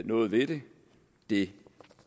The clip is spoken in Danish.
noget ved det det